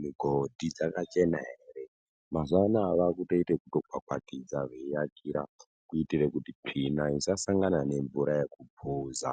migodhi dzakachena ere. Mazuwa anaya vakutoita zvekukwakwatidza veiakira kuitire kuti tsvina isasangane ngemvura yekupuza.